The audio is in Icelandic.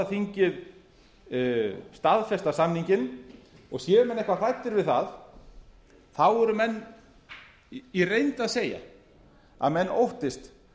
þingið staðfesta samninginn og séu menn eitthvað hræddir við það þá eru menn í reynd að segja að menn óttist